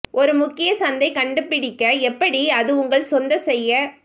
ஒரு முக்கிய சந்தை கண்டுபிடிக்க எப்படி அது உங்கள் சொந்த செய்ய